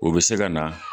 O bɛ se ka na